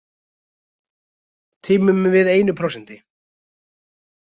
Tímum við einu prósenti?